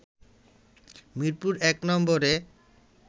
মিরপুর-১ নম্বরে